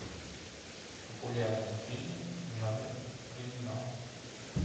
популярные фильмы в жанре криминал